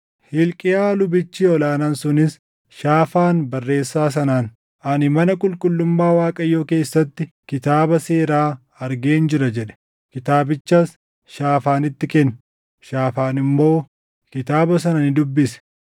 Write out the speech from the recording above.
Hilqiyaa lubichi ol aanaan sunis, Shaafaan barreessaa sanaan, “Ani mana qulqullummaa Waaqayyoo keessatti Kitaaba Seeraa argeen jira” jedhe. Kitaabichas Shaafaanitti kenne; Shaafaan immoo kitaaba sana ni dubbise.